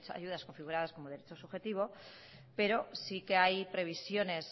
ayudas configuradas como derecho subjetivo pero sí que hay previsiones